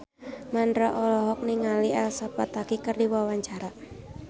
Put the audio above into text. Mandra olohok ningali Elsa Pataky keur diwawancara